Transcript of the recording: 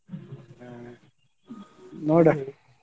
ಹ್ಮ್ .